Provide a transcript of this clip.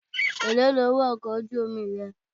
Èlóò ni owó ọkọ̀ ojú omi rẹ?